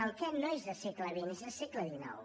el què no és de segle xx és de segle xix